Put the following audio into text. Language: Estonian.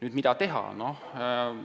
Mida siis teha?